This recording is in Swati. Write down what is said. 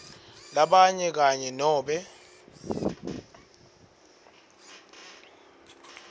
labanyenti kanye nobe